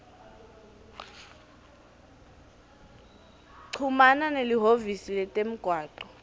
chumana nelihhovisi letemgwaco